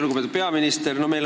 Lugupeetud peaminister!